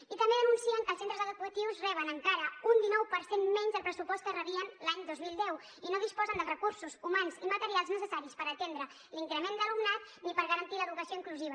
i també denuncien que els centres educatius reben encara un dinou per cent menys del pressupost que rebien l’any dos mil deu i no disposen dels recursos humans i materials necessaris per atendre l’increment d’alumnat ni per garantir l’educació inclusiva